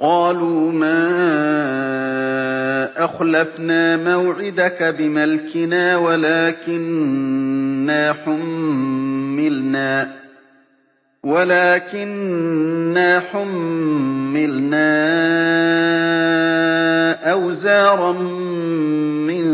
قَالُوا مَا أَخْلَفْنَا مَوْعِدَكَ بِمَلْكِنَا وَلَٰكِنَّا حُمِّلْنَا أَوْزَارًا مِّن